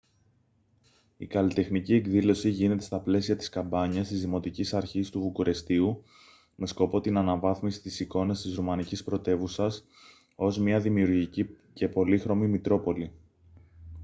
η καλλιτεχνική εκδήλωση γίνεται στα πλαίσια της καμπάνιας της δημοτικής αρχής του βουκουρεστίου με σκοπό την αναβάθμιση της εικόνας της ρουμανικής πρωτεύουσας ως μια δημιουργική και πολύχρωμη μητρόπολη